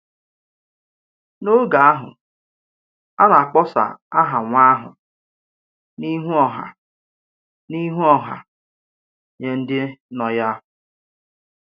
N’ógè ahụ, a na-akpọsa aha nwa ahụ n’ìhù ọha n’ìhù ọha nye ndị nọ ya.